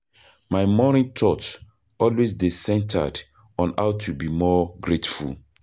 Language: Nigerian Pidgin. My morning thought always dey centered on how to be more grateful.